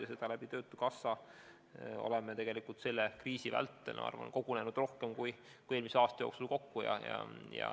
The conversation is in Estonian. Ja seda me oleme töötukassa kaudu selle kriisi vältel, ma arvan, teinud rohkem kui eelmise aasta jooksul kokku.